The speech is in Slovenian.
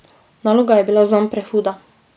Naloga je bila zanj prehuda.